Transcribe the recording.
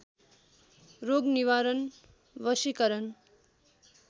रोग निवारण वशीकरण